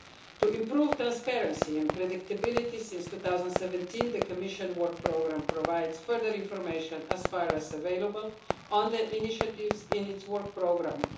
To improve transparency and predictability since 2017 the Commission Work Programme provides further information as far as available on the initiatives in its work programme.